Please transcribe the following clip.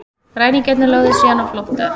Ræningjarnir lögðu síðan á flótta